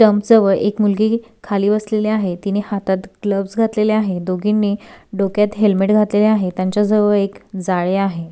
व एक मुलगी खाली बसलेले आहेत तिने हातात ग्लोवज घातलेले आहेत दोघींनी डोक्यात हेलमेट घातलेले आहे त्यांच जवळ एक जाळी आहे.